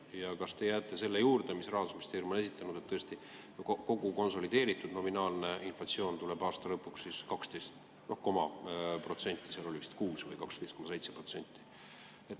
Ja kas te jääte selle juurde, mida Rahandusministeerium on esitanud, et tõesti kogu konsolideeritud nominaalne inflatsioon tuleb aasta lõpuks 12 koma protsenti, seal oli vist 12,6% või 12,7%?